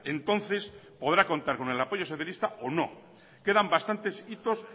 entonces podrá contar con el apoyo socialista o no quedan bastantes hitos